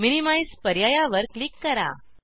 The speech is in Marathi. मिनिमाइझ पर्यायावर क्लिक करा